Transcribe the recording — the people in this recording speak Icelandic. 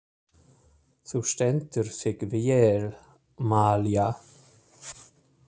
Þú stendur þig vel, Malía!